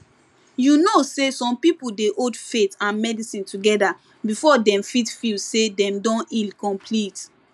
you know say some people dey hold faith and medicine together before dem fit feel say dem don heal complete